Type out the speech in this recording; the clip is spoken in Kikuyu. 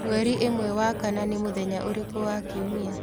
mwerĩ ĩmwe wa kana ni muthenya urĩku wa kiumia